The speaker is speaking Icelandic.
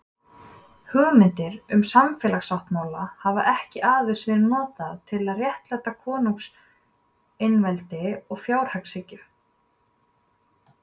Hugmyndir um samfélagssáttmála hafa ekki aðeins verið notaðar til að réttlæta konungseinveldi og frjálshyggju.